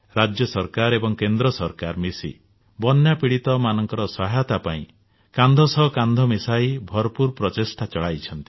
ରାଜ୍ୟ ସରକାର ଏବଂ କେନ୍ଦ୍ର ସରକାର ମିଶି ବନ୍ୟା ପୀଡିତମାନଙ୍କ ସହାୟତା ପାଇଁ କାନ୍ଧ ସହ କାନ୍ଧ ମିଶାଇ ଭରପୁର ପ୍ରଚେଷ୍ଟା ଚଳାଇଛନ୍ତି